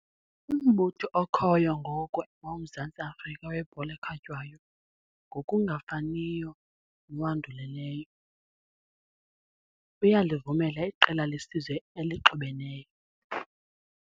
Umbutho okhoyo ngoku woMzantsi Afrika weBhola eKhatywayo, ngokungafaniyo nowandulelayo, uyalivumela iqela lesizwe elixubeneyo.